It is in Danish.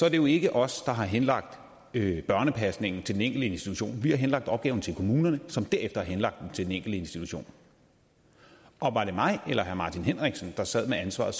at det jo ikke er os der har henlagt børnepasningen til den enkelte institution vi har henlagt opgaven til kommunerne som derefter har henlagt den til den enkelte institution og var det mig eller herre martin henriksen der sad med ansvaret